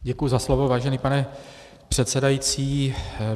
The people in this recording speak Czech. Děkuji za slovo, vážený pane předsedající.